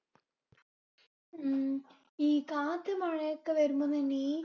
. ഉം ഈ കാറ്റും മഴയൊക്കെ വരുമ്പോ നിമ്മി